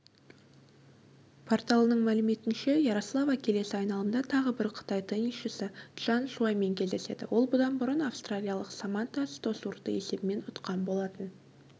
порталының мәліметінше ярослава келесі айналымда тағы бір қытай теннисшісі чжан шуаймен кездеседі ол бұдан бұрын австралиялық саманта стосурды есебімен ұтқан болатын